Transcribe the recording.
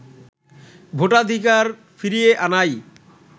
ভোটাধিকার ফিরিয়ে আনাই